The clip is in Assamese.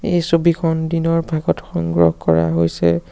এই ছবিখন দিনৰ ভাগত সংগ্ৰহ কৰা হৈছে।